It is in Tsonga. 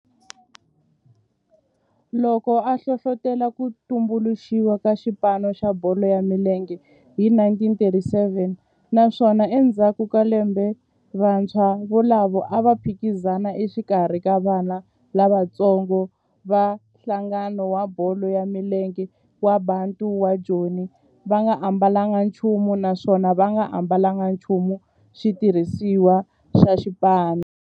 loko a hlohlotela ku tumbuluxiwa ka xipano xa bolo ya milenge hi 1937 naswona endzhaku ka lembe vantshwa volavo a va phikizana exikarhi ka vana lavatsongo va nhlangano wa bolo ya milenge wa Bantu wa Joni va nga ambalanga nchumu naswona va nga ambalanga nchumu xitirhisiwa xa xipano.